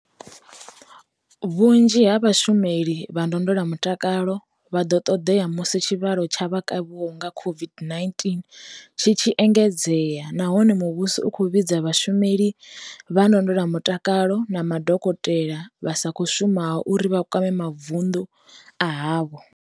Vhunzhi ha vhashumeli vha ndondolamutakalo vha ḓo ṱoḓea musi tshivhalo tsha vha kavhiwaho nga COVID-19 tshi tshi engedzea nahone muvhuso u khou vhidza vhashumeli vha ndondolamutakalo na madokotela vha sa khou shumaho uri vha kwame mavundu a havho.